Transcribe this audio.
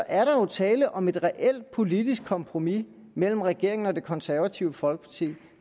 er jo tale om et reelt politisk kompromis mellem regeringen og det konservative folkeparti